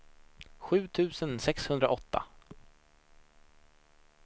sju tusen sexhundraåtta